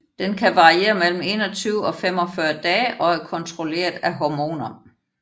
Den kan variere mellem 21 og 45 dage og er kontrolleret af hormoner